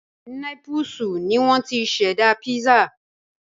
Népúsù ni wọ́n ti ṣẹ̀dá písà